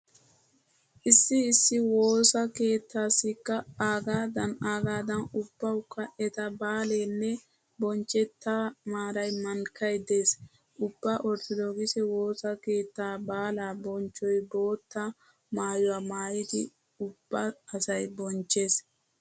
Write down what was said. Issi issi woisa keettaassikka aagadan aagadan ubbawukka eta baaleenne bonchchettaa maaray mankkay dees. Ubba orttodokise woosa keettaa baalaa bonchchoy bootta maayuwa maayidi ubba asay bonchchees.